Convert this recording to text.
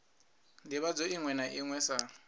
ndivhadzo iṅwe na iṅwe sa